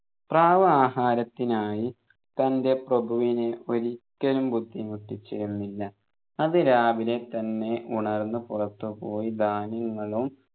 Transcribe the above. പ്രാവ് ആഹാരത്തിനായി തൻെറ പ്രഭുവിനെ ഒരിക്കലും ബുദ്ധിമുട്ടിച്ചിരുന്നില്ല അതിരാവിലെ തന്നെ ഉണർന്നു പുറത്തുപോയി ധാന്യങ്ങളും